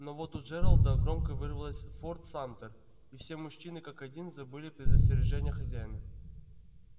но вот у джералда громко вырвалось форт самтер и все мужчины как один забыли предостережения хозяина